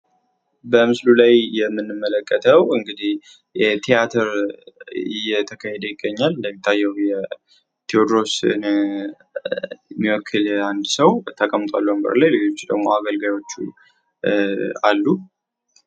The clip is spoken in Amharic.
በምስሉ ላይ የምንመለከተው እንግዲህ የቲያትር እየተካሄደ ይገኛል ፤ እንደሚታየው የቴዎድሮስን የሚወክል ተቀምጧል ሌሎች ደሞ አገልጋዮቹ አሉ።